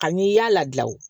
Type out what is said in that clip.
Ani i y'a ladi o